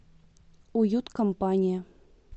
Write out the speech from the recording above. уюткомпания